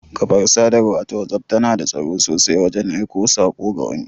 Ƙafar Sadarwa ta whatsapp tana da tsaro sosai wajan aiko sako ga wani